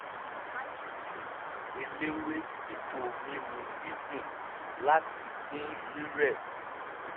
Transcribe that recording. ó fi tíì eléwé dípò mímu dídùn láti dín rírẹ̀ ku